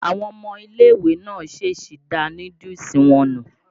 Àwọn ọmọ ilé-ìwé náà ṣéṣí da núdúùsù wọn nù.